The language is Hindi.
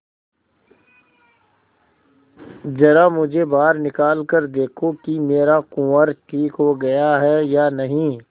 जरा मुझे बाहर निकाल कर देखो कि मेरा कुंवर ठीक हो गया है या नहीं